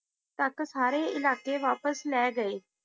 ਇਲਾਕੇ ਵਾਪਿਸ ਲੈ ਗਏ